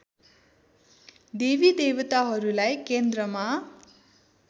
देवी देवताहरूलाई केन्द्रमा